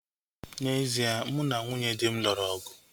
N'ezie, mụ na nwunye dị m lụrụ ọgụ